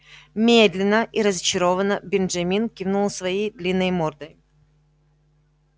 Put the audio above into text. медленно и разочарованно бенджамин кивнул своей длинной мордой